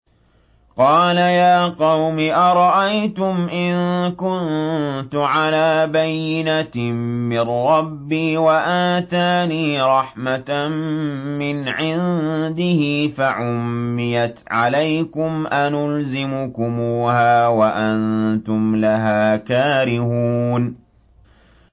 قَالَ يَا قَوْمِ أَرَأَيْتُمْ إِن كُنتُ عَلَىٰ بَيِّنَةٍ مِّن رَّبِّي وَآتَانِي رَحْمَةً مِّنْ عِندِهِ فَعُمِّيَتْ عَلَيْكُمْ أَنُلْزِمُكُمُوهَا وَأَنتُمْ لَهَا كَارِهُونَ